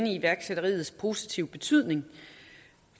i iværksætteriets positive betydning